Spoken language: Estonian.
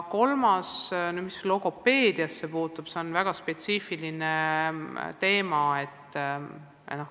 Mis logopeediasse puutub, siis see on väga spetsiifiline teema.